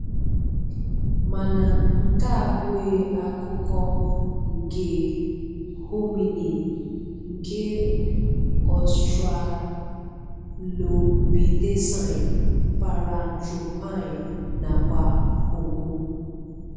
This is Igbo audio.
Mana nke a abụghị akụkọ nke hominin, nke australopithecine, paranthropine nakwa Homo.